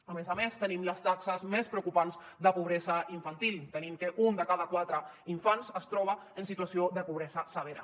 a més a més tenim les taxes més preocupants de pobresa infantil tenim que un de cada quatre infants es troba en situació de pobresa severa